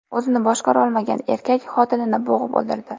O‘zini boshqarolmagan erkak xotinini bo‘g‘ib o‘ldirdi.